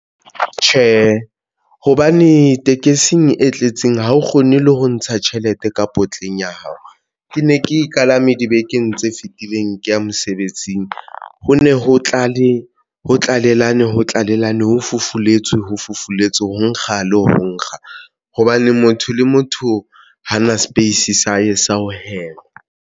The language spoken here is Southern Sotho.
Tjhe, hobane tekesing e tletseng ha o kgone le ho ntsha tjhelete ka potleng ya hao. Ke ne ke e kalame dibekeng tse fitileng ke ya mosebetsing ho ne ho tlalellana ho tlalellana ho fufuletswe, ho fufuletswe, ho nkga le ho nkga hobane motho le motho ha na space sa hae sa ho hema.